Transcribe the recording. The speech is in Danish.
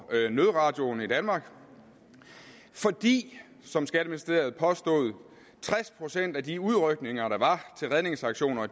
nødradioen i danmark fordi som skatteministeriet påstod tres procent af de udrykninger der var til redningsaktioner